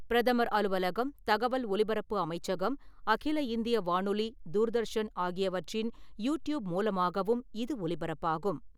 பிரதமர் அலுவலகம், தகவல் ஒலிப்பரப்பு அமைச்சகம், அகில இந்திய வானொலி, தூர்தர்ஷன் ஆகியவற்றின் யூ டியூப் மூலமாகவும் இது ஒலிபரப்பாகும்.